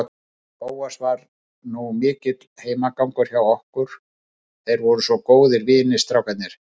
Bóas var nú mikill heimagangur hjá okkur, þeir voru svo góðir vinir, strákarnir.